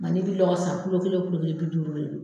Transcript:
N ka n'i bɛ lɔgɔ san kelen kelen bi duuru.